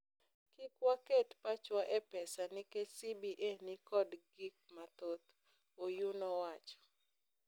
Kik waket pachwa e pesa nikech CBA ni kod gik mathoth." Oyuu nowacho.